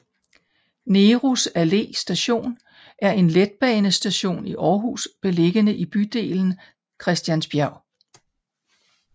Nehrus Allé Station er en letbanestation i Aarhus beliggende i bydelen Christiansbjerg